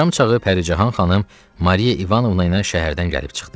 Axşamçağı Pərican xanım Mariya İvanovna ilə şəhərdən gəlib çıxdı.